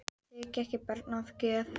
Ég þigg ekki barn að gjöf.